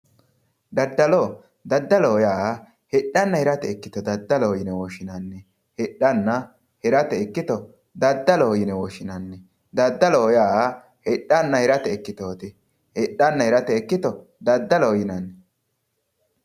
Daddalo, daddaloho yaa hidhanna hirate ikkitto daddaloho yinne woshshinanni ,hidhanna hirate ikkitto daddaloho yinne woshshinanni ,daddaloho yaa hidhanna hirate ikkittoti, hidhana hirate ikkitto daddaloho yinnanni.